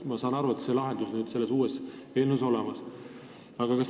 Ma saan aru, et sellele on uues seaduses lahendus olemas.